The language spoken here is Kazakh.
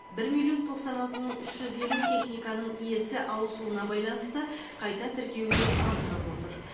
бір миллион тоқсан алты мың үш жүз елу техниканың иесі ауысуына байланысты қайта тіркеуге алынып отыр